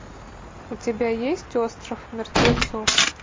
у тебя есть остров мертвецов